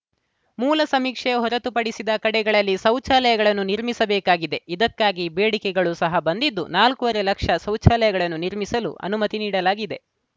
ಮೂಲ ಸಮೀಕ್ಷೆ ಹೊರತು ಪಡಿಸಿದ ಕಡೆಗಳಲ್ಲಿ ಶೌಚಾಲಯಗಳನ್ನು ನಿರ್ಮಿಸಬೇಕಾಗಿದೆ ಇದಕ್ಕಾಗಿ ಬೇಡಿಕೆಗಳು ಸಹ ಬಂದಿದ್ದು ನಾಲ್ಕುವರೆ ಲಕ್ಷ ಶೌಚಾಲಯಗಳನ್ನು ನಿರ್ಮಿಸಲು ಅನುಮತಿ ನೀಡಲಾಗಿದೆ